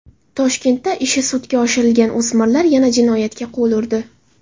Toshkentda ishi sudga oshirilgan o‘smirlar yana jinoyatga qo‘l urdi.